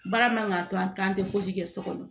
Baara man ka to an k'an tɛ fosi kɛ so kɔnɔ